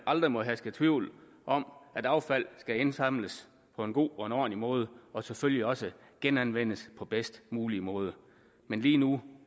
aldrig må herske tvivl om at affald skal indsamles på en god og ordentlig måde og selvfølgelig også genanvendes på den bedst mulige måde men lige nu